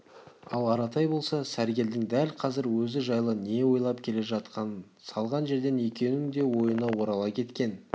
ал аратай болса сәргелдің дәл қазір өзі жайлы не ойлап келе жатқанын салған жерден екеуінің де ойына орала кеткен